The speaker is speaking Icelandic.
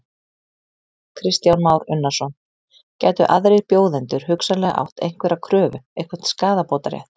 Kristján Már Unnarsson: Gætu aðrir bjóðendur hugsanlega átt einhverja kröfu, einhvern skaðabótarétt?